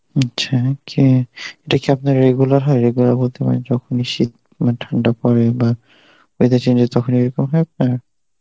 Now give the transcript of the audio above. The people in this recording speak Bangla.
আচ্ছা কি, এটা কি আপনার regular হয়, regular বলতে মানে যখনই শীত মানে ঠান্ডা পরে বা weather change যখন এরকম হয় আপনার?